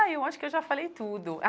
Ah, eu acho que eu já falei tudo.